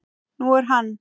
Nú er hann